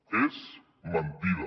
és mentida